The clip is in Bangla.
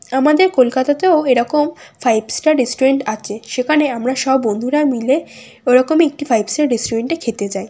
আমাদের কলকাতাতেও এরকম ফাইভ স্টার রেস্টুরেন্ট আছে সেখানে আমরা সব বন্ধুরা মিলে ওরকম একটি ফাইভ স্টার রেস্টুরেন্টে খেতে যাই।